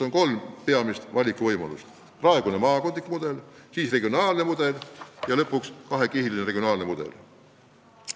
On kolm peamist valikuvõimalust: praegune maakondlik mudel, regionaalne mudel ja lõpuks kahekihiline regionaalne mudel.